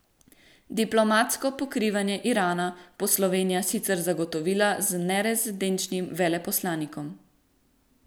Diplomatsko pokrivanje Irana bo Slovenija sicer zagotovila z nerezidenčnim veleposlanikom.